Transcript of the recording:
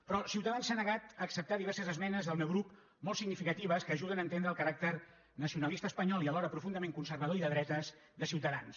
però ciutadans s’ha negat a acceptar diverses esmenes del meu grup molt significatives que ajuden a entendre el caràcter nacionalista espanyol i alhora profundament conservador i de dretes de ciutadans